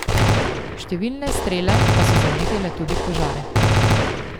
Številne strele pa so zanetile tudi požare.